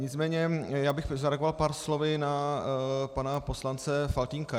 Nicméně já bych zareagoval pár slovy na pana poslance Faltýnka.